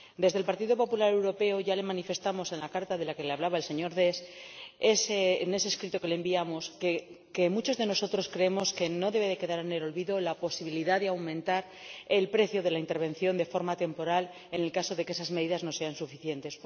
Los miembros del Partido Popular Europeo ya manifestamos en la carta de la que le hablaba el señor Deß, en ese escrito que le enviamos, que muchos de nosotros creemos que no debe quedar en el olvido la posibilidad de aumentar el precio de la intervención de forma temporal, en el caso de que esas medidas no sean suficientes.